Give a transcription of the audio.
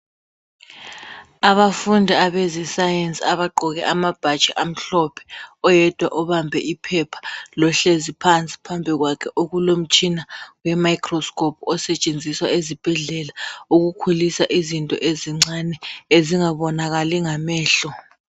Abafundi abayenza iscience abagqoke amabhatshi amhlophe oyedwa ubambe iphepha ,lohlezi phansi ,phambi kwakhe okulomtshina we microscope osetshenziswa ezibhedlela wokukhulisa izinto ezincane ezingabonakali ngamehlo.